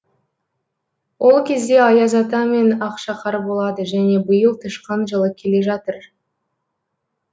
ол кезде аяз ата мен ақшақар болады және биыл тышқан жылы келе жатыр